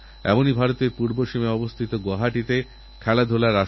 ৮ই August ভারতছাড়ো আন্দোলনের সূচনা হয়েছিল এবছর তার ৭৫ বছর হচ্ছে